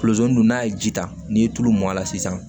don n'a ye ji ta n'i ye tulu mɔn a la sisan